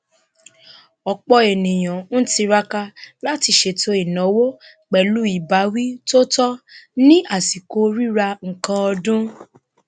ọpọ ènìyàn ń tiraka láti ṣètò ináwó pẹlú ìbáwí tó tọ ní àsìkò rírà nkan ọdún